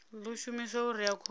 ḓo shumiswa u rea khovhe